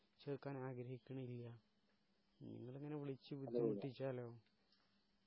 ചേർക്കാനാഗ്രഹിക്കുന്നില്ല നിങ്ങളിങ്ങനെ വിളിച്ചു ബുദ്ധി മുട്ടിചാലോ